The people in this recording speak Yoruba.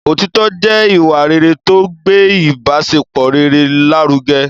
Òtitọ́ jẹ́ ìwà rere tó ń gbé ibasepọ rere lárugẹ